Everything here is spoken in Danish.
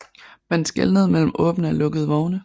Man skelnede mellem åbne og lukkede vogne